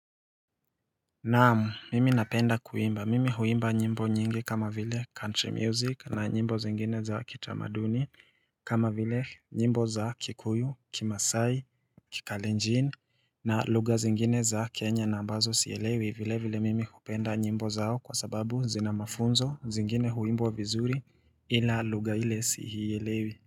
Naam, mimi napenda kuimba. Mimi huimba nyimbo nyingi kama vile country music na nyimbo zingine za kitamaduni kama vile nyimbo za kikuyu, kimasai, kikalenjin na lugha zingine za kenya na ambazo sielewi vile vile mimi hupenda nyimbo zao kwa sababu zina mafunzo zingine huimbwa vizuri ila lugha ile siiyelewi.